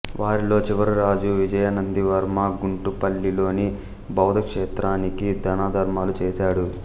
వారిలో చివరిరాజు విజయనందివర్మ గుంటుపల్లిలోని బౌద్ధ క్షేత్రానికి దానధర్మాలు చేశాడు